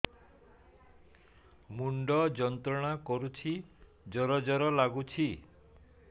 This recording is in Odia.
ମୁଣ୍ଡ ଯନ୍ତ୍ରଣା କରୁଛି ଜର ଜର ଲାଗୁଛି